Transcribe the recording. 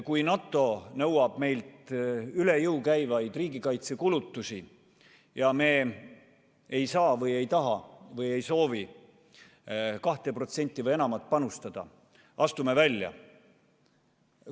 Kui NATO nõuab meilt üle jõu käivaid riigikaitsekulutusi ja me ei saa või ei taha või ei soovi 2% või enamat panustada – astume välja.